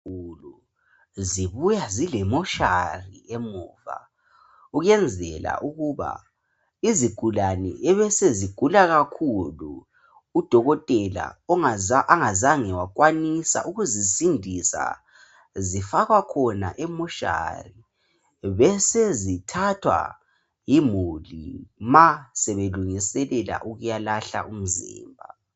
Izibhedlela ezinkulu zibuya zile mortuary emuva ukuyenzela ukuba izigulane ebesezigula kakhulu udokotela ongazange wakwanisa ukuzisindisa, zifakwa khona e mortuary besezithathwa yimuli ma sebelungiselela ukuyalahla umzimba.